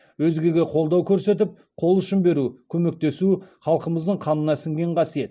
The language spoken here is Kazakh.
өзгеге қолдау көрсетіп қол ұшын беру көмектесу халқымыздың қанына сіңген қасиет